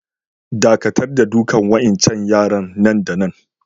Dakatar da dukan wa'incan yara nan da nan!